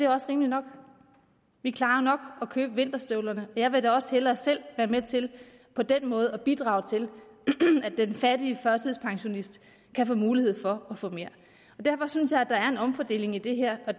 også rimeligt nok vi klarer nok at købe vinterstøvlerne og jeg vil da også hellere selv være med til på den måde at bidrage til at den fattige førtidspensionist kan få mulighed for at få mere derfor synes jeg at der er en omfordeling i det her og